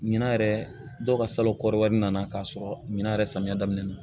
Ɲinan yɛrɛ dɔw ka salon kɔrɔba in nana k'a sɔrɔ ɲina yɛrɛ samiya daminɛ na